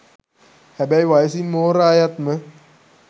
හැබැයි වයසින් මෝරා යත්ම